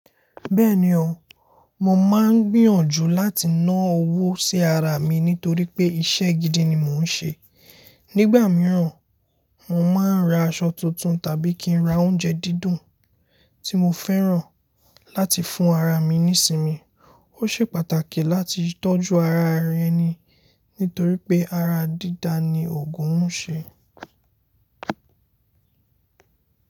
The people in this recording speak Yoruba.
Bẹ́ẹ̀ni o, mo máa ń gbìyànjú láti ná owó sí ara mi nítorí pé iṣẹ́ gidi ni mò ń ṣe. Nígbà mìíràn, mo máa ń ra aṣọ tuntun tàbí kí n ra oúnjẹ dídùn tí mo fẹ́ràn láti fún ara mi nísinmi. Ó ṣe pàtàkì láti tọ́jú ara ẹni nítorí pé ara dídá ni òògùn ń ṣe.